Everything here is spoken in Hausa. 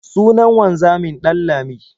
Sunan wanzamin Ɗanlami.